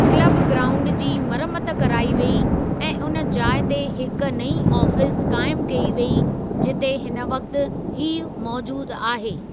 Club जी ground मरमत कराई वेई ऐं उन जाइ ते हिकु नईं आफ़ीस क़ाइमु कई वेई जिते हिन वक़्ति हीउ मौजूदु आहे।